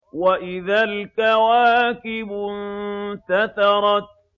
وَإِذَا الْكَوَاكِبُ انتَثَرَتْ